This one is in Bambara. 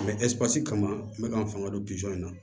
kama n bɛ k'an fanga don in na